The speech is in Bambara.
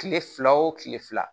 Kile fila o kile fila